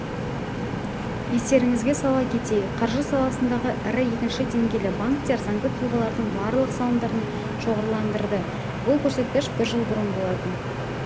естеріңізге сала кетейік қаржы саласындағы ірі екінші деңгейлі банктер заңды тұлғалардың барлық салымдарының шоғырландырады бұл көрсеткіш бір жыл бұрын болатын